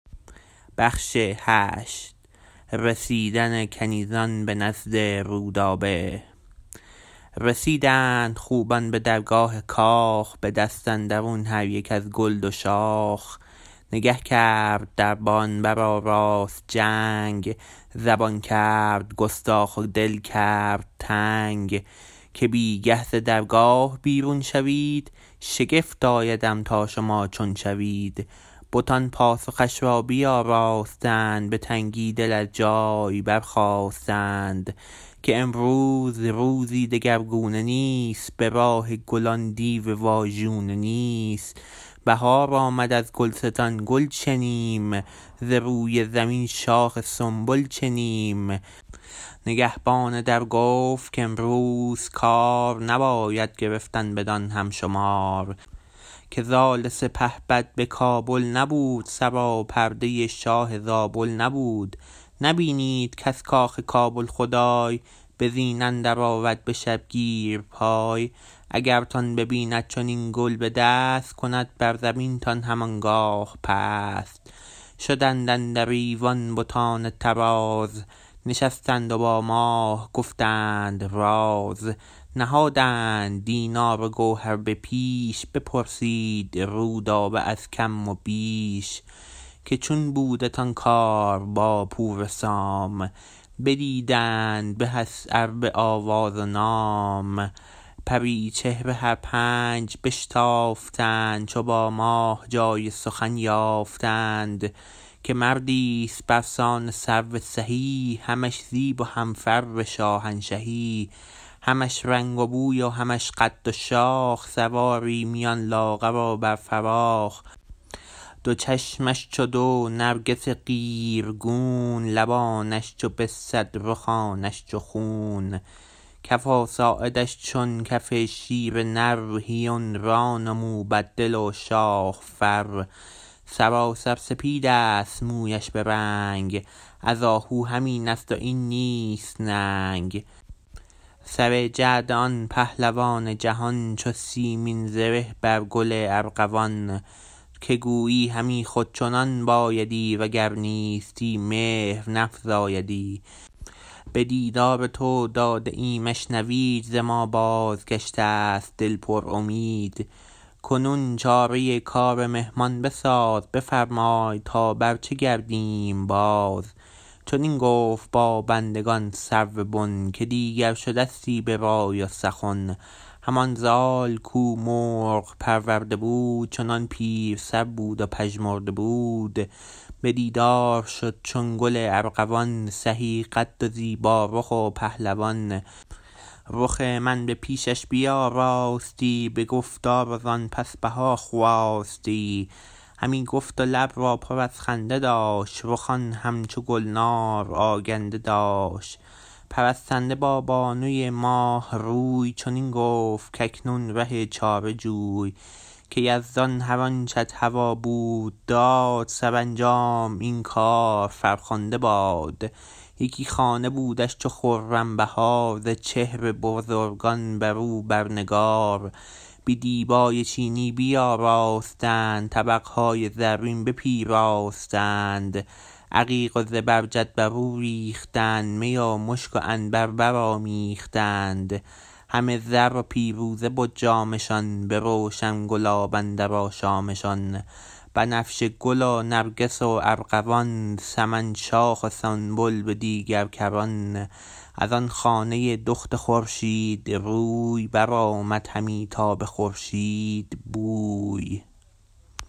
رسیدند خوبان به درگاه کاخ به دست اندرون هر یک از گل دو شاخ نگه کرد دربان برآراست جنگ زبان کرد گستاخ و دل کرد تنگ که بی گه ز درگاه بیرون شوید شگفت آیدم تا شما چون شوید بتان پاسخش را بیاراستند به تنگی دل از جای برخاستند که امروز روزی دگر گونه نیست به راه گلان دیو واژونه نیست بهار آمد ازگلستان گل چنیم ز روی زمین شاخ سنبل چنیم نگهبان در گفت کامروز کار نباید گرفتن بدان هم شمار که زال سپهبد بکابل نبود سراپرده شاه زابل نبود نبینید کز کاخ کابل خدای به زین اندر آرد بشبگیر پای اگرتان ببیند چنین گل بدست کند بر زمین تان هم آنگاه پست شدند اندر ایوان بتان طراز نشستند و با ماه گفتند راز نهادند دینار و گوهر به پیش بپرسید رودابه از کم و بیش که چون بودتان کار با پور سام بدیدن بهست ار به آواز و نام پری چهره هر پنج بشتافتند چو با ماه جای سخن یافتند که مردیست برسان سرو سهی همش زیب و هم فر شاهنشهی همش رنگ و بوی و همش قد و شاخ سواری میان لاغر و بر فراخ دو چشمش چو دو نرگس قیرگون لبانش چو بسد رخانش چو خون کف و ساعدش چو کف شیر نر هیون ران و موبد دل و شاه فر سراسر سپیدست مویش برنگ از آهو همین است و این نیست ننگ سر جعد آن پهلوان جهان چو سیمین زره بر گل ارغوان که گویی همی خود چنان بایدی وگر نیستی مهر نفزایدی به دیدار تو داده ایمش نوید ز ما بازگشتست دل پرامید کنون چاره کار مهمان بساز بفرمای تا بر چه گردیم باز چنین گفت با بندگان سرو بن که دیگر شدستی به رای و سخن همان زال کو مرغ پرورده بود چنان پیر سر بود و پژمرده بود به دیدار شد چون گل ارغوان سهی قد و زیبا رخ و پهلوان رخ من به پیشش بیاراستی به گفتار و زان پس بهاخواستی همی گفت و لب را پر از خنده داشت رخان هم چو گلنار آگنده داشت پرستنده با بانوی ماه روی چنین گفت کاکنون ره چاره جوی که یزدان هر آنچت هوا بود داد سرانجام این کار فرخنده باد یکی خانه بودش چو خرم بهار ز چهر بزرگان برو بر نگار به دیبای چینی بیاراستند طبق های زرین بپیراستند عقیق و زبرجد برو ریختند می و مشک و عنبر برآمیختند همه زر و پیروزه بد جامشان به روشن گلاب اندر آشامشان بنفشه گل و نرگس و ارغوان سمن شاخ و سنبل به دیگر کران از آن خانه دخت خورشید روی برآمد همی تا به خورشید بوی